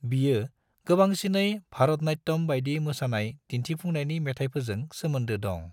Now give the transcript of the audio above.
बियो गोबांसिनै भरतनाट्यम बायदि मोसानाय दिन्थिफुंनायनि मेथायफोरजों सोमोनदो दं।